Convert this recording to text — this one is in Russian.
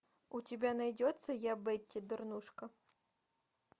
у тебя найдется я бетти дурнушка